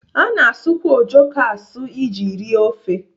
A na-asụkwa ojoko asụ iji rie ofe.